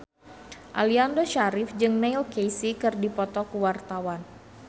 Aliando Syarif jeung Neil Casey keur dipoto ku wartawan